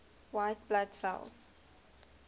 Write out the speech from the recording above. white blood cells